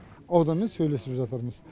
ауданмен сөйлесіп жатырмыз